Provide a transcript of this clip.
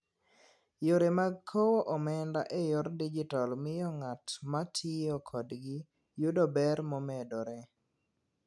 Yore mag kowo omenda e yor digital miyo ng'at ma tiyo kodgi yudo ber momedore.